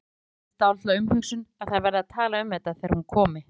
Stynur upp eftir dálitla umhugsun að þær verði að tala um þetta þegar hún komi.